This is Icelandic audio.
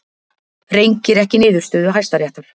Rengir ekki niðurstöðu Hæstaréttar